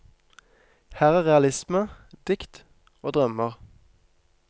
Her er realisme, dikt og drømmer.